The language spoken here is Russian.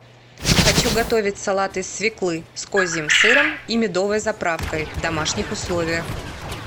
хочу готовить салат из свеклы с козьим сыром и медовой заправкой в домашних условиях